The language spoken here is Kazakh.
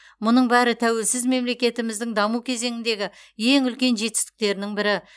мұның бәрі тәуелсіз мемлекетіміздің даму кезеңіндегі ең үлкен жетістіктерінің бірі